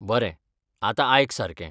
बरें, आतां आयक सारकें.